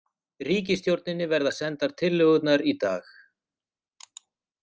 Ríkisstjórninni verða sendar tillögurnar í dag